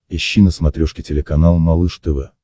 ищи на смотрешке телеканал малыш тв